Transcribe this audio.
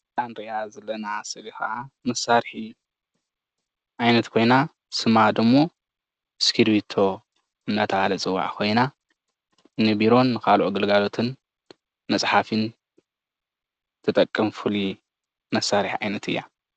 እታ እንሪኣ ዘለና ስእሊ ኸዓ መሣርሒ ዓይነት ኮይና ሰማ ደግሞ እስክርቢቶ ትበሃል ኮይና ንቢሮን ካልኦት ፅሕፈታትን ንምስራሕ ይጠቆም።